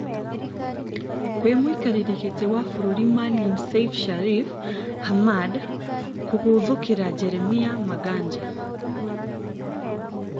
Kwĩ mũikarĩrI gĩtĩ wa bũrũri Maalin Seif Shariff Hamad kũgũthĩkĩra Jeremiah Maganja.